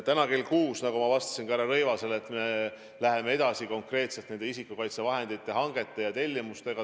Täna kell 6, nagu ma ütlesin härra Rõivasele vastates, me läheme edasi konkreetselt isikukaitsevahendite hangete ja tellimustega.